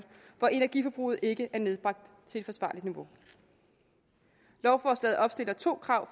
hvor energiforbruget ikke er nedbragt til et forsvarligt niveau lovforslaget opstiller to krav